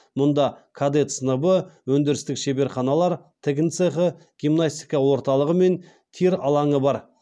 мұнда кадет сыныбы өндірістік шеберханалар тігін цехы гимнастика орталығы мен тир алаңы бар